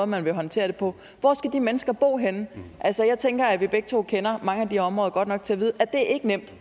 man vil håndtere det på hvor skal de mennesker bo henne altså jeg tænker at vi begge to kender mange af de områder godt nok til